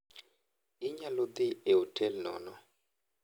Inyalo dhi e otel nono.